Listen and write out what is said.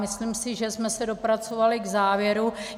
Myslím si, že jsme se dopracovali k závěru.